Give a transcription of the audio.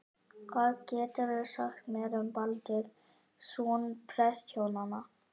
Hvað geturðu sagt mér um Baldur, son prestshjónanna?